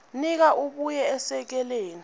nika abuye esekele